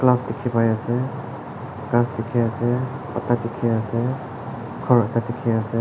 ghass dikhi pai ase ghass dikhi ase pata dikhi ase ghor ekta dikhi ase.